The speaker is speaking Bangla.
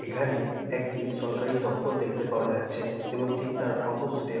এখানে একটি সরকারি দপ্তর দেখতে পাওয়া যাচ্ছে এবং ঠিক তার অপজিট -এ--